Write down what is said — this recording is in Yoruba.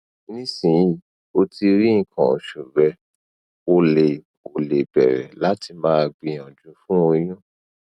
nisin o ti ri ikan osu re o le o le bere lati ma gbiyanju fun oyun